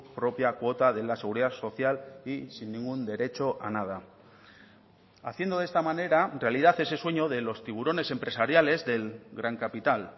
propia cuota de la seguridad social y sin ningún derecho a nada haciendo de esta manera realidad ese sueño de los tiburones empresariales del gran capital